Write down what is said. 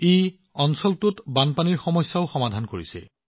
এইটোৱে অঞ্চলটোৰ বানপানীৰ সমস্যাও সমাধান কৰিছিল